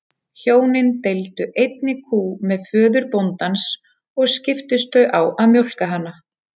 Hjónin deildu einni kú með föður bóndans og skiptust þau á að mjólka hana.